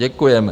Děkujeme.